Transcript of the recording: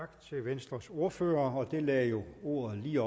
tak til venstres ordfører og det lagde jo ordet lige